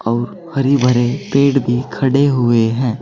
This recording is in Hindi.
और हरे भरे पेड़ भी खड़े हुए हैं।